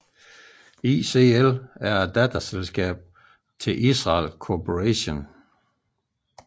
ICL er et datterselskab til Israel Corporation